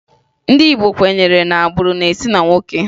Ndị Igbo kwenyere na agbụrụ na-esi na nwoke